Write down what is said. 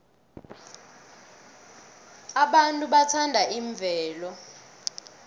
abantu bathanda imvelo